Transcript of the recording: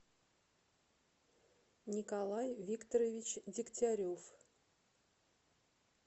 николай викторович дегтярев